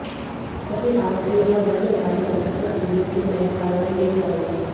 सभी आरोपियों पर वन्य प्राणी संरक्षण अधिनियम के तहत कार्रवाई की जा रही है